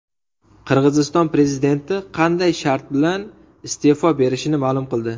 Qirg‘iziston prezidenti qanday shart bilan iste’fo berishini ma’lum qildi.